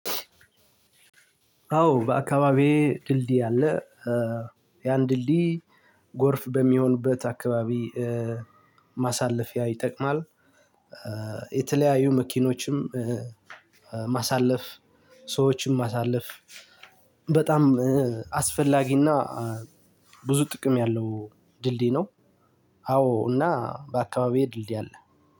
አዎ በአካባቢዬ ድልድይ አለ። ያን ድልድይ ጎርፍ በሚሆንበት አካባቢ ማሳለፊያ ይጠቅማል። የተለያዩ መኪኖችንም ማሳለፍ፣ ሰዎችም ማሳለፍ፣ በጣም አስፈላጊና ብዙ ጥቅም ያለው ድልድይ ነው። አዎ እና በአካባቢዬ ድልድይ አለ።